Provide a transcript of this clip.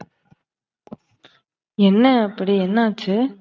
என்ன அப்டி, என்ன ஆச்சு?